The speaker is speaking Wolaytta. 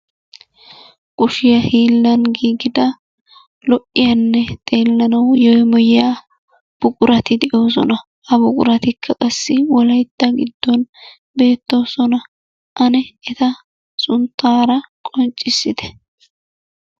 Kushiyaa hiilan giigida lo"iyanne xeelanaw yeemoyyiya buqurati de'oosona. Ha buquratikka qassi wolaytta giddon beertoosona. Ane eta sunttaara qonccissite.